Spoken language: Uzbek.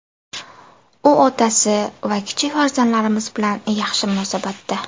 U otasi va kichik farzandlarimiz bilan yaxshi munosabatda.